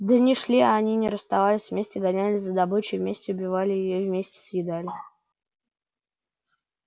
дни шли а они не расставались вместе гонялись за добычей вместе убивали её вместе съедали